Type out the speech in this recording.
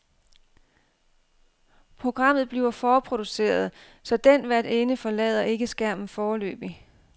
Programmet bliver forproduceret, så den værtinden forlader ikke skærmen foreløbig.